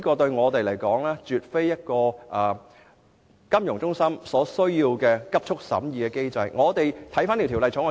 因此，香港作為金融中心絕對無須加快審議本《條例草案》。